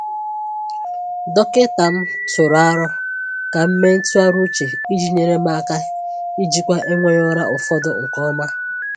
Dọkịta m tụụrụ aro ka m mee ntụgharị uche iji nyere m aka ijikwa enweghị ụra ụfọdụ nke ọma.